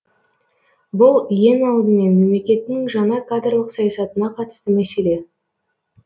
бұл ең алдымен мемлекеттің жаңа кадрлық саясатына қатысты мәселе